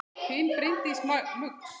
Þín Bryndís Muggs.